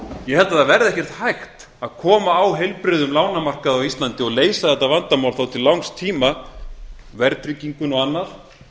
ég held að það verði ekkert hægt að koma á heilbrigðum lánamarkaði á íslandi og leysa þetta vandamál þá til langs tíma verðtrygginguna og annað